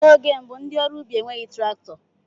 N'oge mbụ ndị ọrụ ubi enweghị traktọ